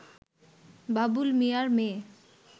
বাবুল মিয়ার মেয়ে